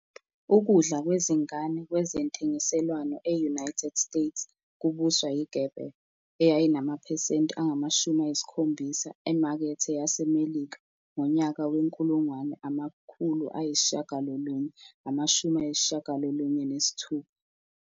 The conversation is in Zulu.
Ukudla kwezingane kwezentengiselwano e-United States kubuswa yiGerber, eyayinamaphesenti angama-70 emakethe yaseMelika ngonyaka we-1996.